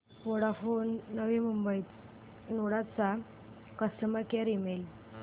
Vodafone Navi Mumbai node चा customer care email